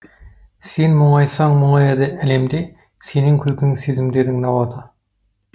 сен мұңайсаң мұңаяды әлем де сенің күлкің сезімдердің науаты